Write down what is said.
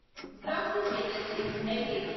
Grasim industries LTD